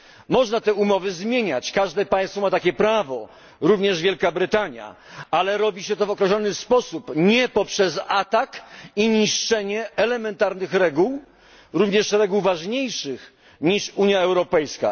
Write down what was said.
Można te umowy zmieniać, każde państwo ma takie prawo, również Wielka Brytania, ale robi się to w określony sposób, nie poprzez atak i niszczenie elementarnych reguł, również reguł ważniejszych niż Unia Europejska.